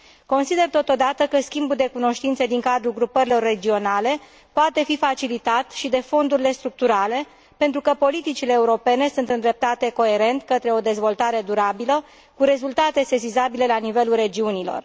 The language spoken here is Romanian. Consider totodată că schimbul de cunoștințe din cadrul grupărilor regionale poate fi facilitat și de fondurile structurale, pentru că politicile europene sunt îndreptate coerent către o dezvoltare durabilă, cu rezultate sesizabile la nivelul regiunilor.